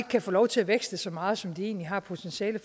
kan få lov til at vækste så meget som de egentlig har potentiale